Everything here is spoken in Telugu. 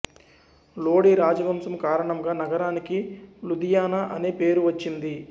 లోడి రాజవంశం కారణంగా నగరానికి లుధియానా అనే పేరు వచ్చింది